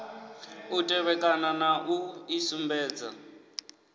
u tevhekana na u isumbedza